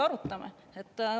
Arutame.